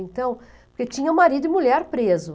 Então, porque tinha marido e mulher preso.